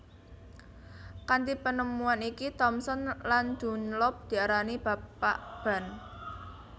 Kanthi penemuan iki Thomson lan Dunlop diarani Bapak Ban